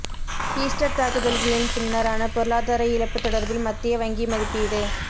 Easter தாக்குதல்களின் பின்னரான பொருளாதார இழப்பு தொடர்பில் மத்திய வங்கி மதிப்பீடு